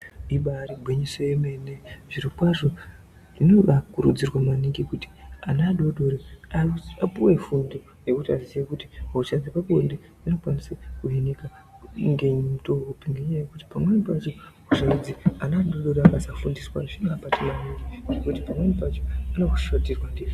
Ibairi gwinyiso yemene zviro kwazvo zvinobai kurudzirwe maningi kuti ana adodori apuwe fundo yekuti aziye kuti hosha dzepa bonde inokwanisa ku hinika nge mutowo upi ngenya yekuti pamweni pacho hosha idzi ana adodori akasa fundiswa zvinova bata maningi ngekuti pamweni pacho ano shoterwa nge zviro.